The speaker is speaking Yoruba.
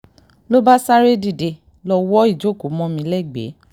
ló bá sáré dìde lọ wo ìjókòó mọ́ mi lẹ́gbẹ̀ẹ́